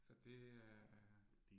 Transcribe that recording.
Så det er